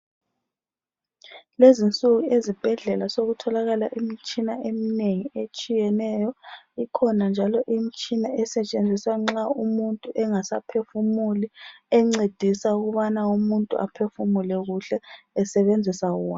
Kulezi insuku ezibhedlela sokutholakala imitshina eminengi etshiyeneyo , ikhona njalo imtshina esetshenziswa nxa umuntu engasaphefumuli encedisa ukubana umuntu ephefumule kuhle esebenzisa wona